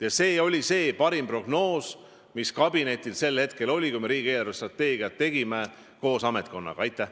Ja see oli see parim prognoos, mis kabinetis oli, kui me riigi eelarvestrateegiat koos ametnikkonnaga tegime.